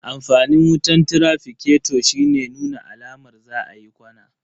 Amfanin wutan traficato shine nuna alamar za a yi ƙwana.